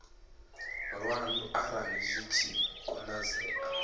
lwanu arali zwi tshi konadzea